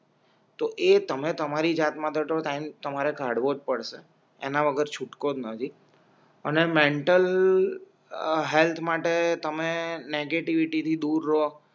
તો એ તમે તમારી જાત માં તો ટાઈમ તમારેવો જ પડશે એના વગર છૂટકો જ નથી અને મેન્ટલ હેલ્થ માટે તમે નેગેટિવિટી દૂર રો